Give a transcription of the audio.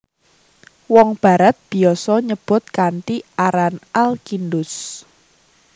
Wong Barat biasa nyebut kanthi aran Al Kindus